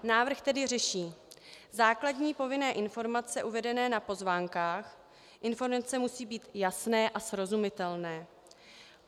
Návrh tedy řeší základní povinné informace uvedené na pozvánkách, informace musí být jasné a srozumitelné.